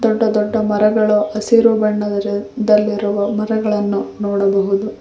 ದೊಡ್ಡ ದೊಡ್ಡ ಮರಗಳು ಹಸಿರು ಬಣ್ಣದಲ್ಲಿರುವ ಮರಗಳನ್ನು ನೋಡಬಹುದು.